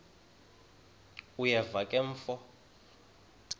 uyeva ke mfo